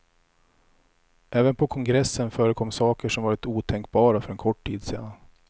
Även på kongressen förekom saker som varit otänkbara för en kort tid sedan.